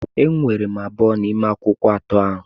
Eweere m abụọ n'ime akwụkwọ atọ ahụ.